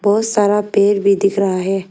बहुत सारा पेड़ भी दिख रहा है।